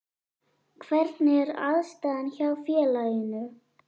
Hvernig er aðstaðan hjá félaginu?